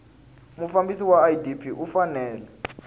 mufambisi wa idp u fanele